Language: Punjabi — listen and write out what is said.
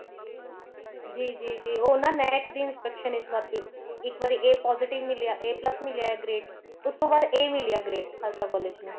ਜੀ ਜੀ ਜੀ ਉਹ ਨਾ ਨੈਕ ਈਦ inspection ਇਸ ਵਾਰ ਸੀ ਇੱਕ ਵਾਰ A positive ਮਿਲਿਆ A plus ਮਿਲਿਆ grade ਉਸ ਤੋਂ ਬਾਅਦ A ਮਿਲਿਆ grade ਖਾਲਸਾ college ਤੋਂ